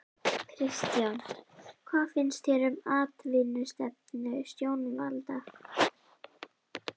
Kristján: Hvað finnst þér um atvinnustefnu stjórnvalda?